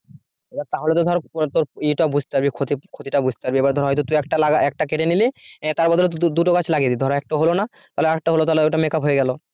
এবার তাহলে তো ধর তোর ইয়েটা বুঝতে হবে, ক্ষতি ক্ষতিটা বুঝতে হবে এবার ধর তুই একটা লাগা একটা কেটে নিলি এবার তার বদলে দুটো গাছ লাগিয়ে দিলি ধর একটা হলনা তাহলে আর একটা হল ওটা make up হয়ে গেল